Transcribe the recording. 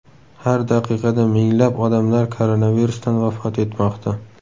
Har daqiqada minglab odamlar koronavirusdan vafot etmoqda.